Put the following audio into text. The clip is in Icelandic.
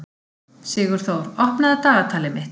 Sigurþór, opnaðu dagatalið mitt.